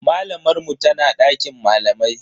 Malamar mu tana dakin malamai.